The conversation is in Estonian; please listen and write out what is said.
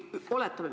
Oletame.